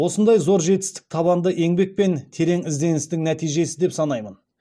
осындай зор жетістік табанды еңбек пен терең ізденістің нәтижесі деп санаймын